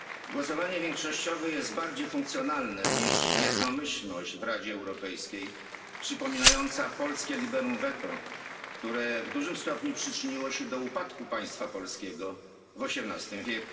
Głosowanie większościowe jest bardziej funkcjonalne niż jednomyślność w Radzie Europejskiej przypominająca polskie liberum veto, które w dużym stopniu przyczyniło się do upadku państwa polskiego w XVIII w.